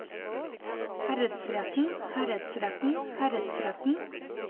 herredsretten herredsretten herredsretten